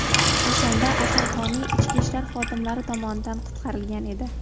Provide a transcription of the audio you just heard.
O‘shanda Asalhoney ichki ishlar xodimlari tomonidan qutqarilgan edi.